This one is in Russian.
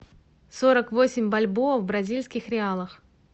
сорок восемь бальбоа в бразильских реалах